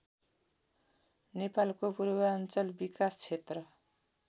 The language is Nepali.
नेपालको पूर्वाञ्चल विकास क्षेत्र